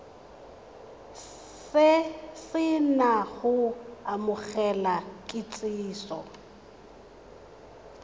se na go amogela kitsiso